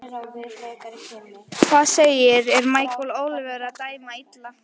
Hvað segiði, er Michael Oliver að dæma illa?